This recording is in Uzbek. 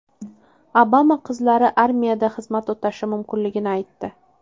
Obama qizlari armiyada xizmat o‘tashi mumkinligini aytdi.